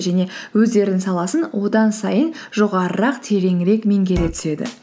және өздерінің саласын одан сайын жоғарырақ тереңірек меңгере түседі